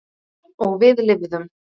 Og við lifðum.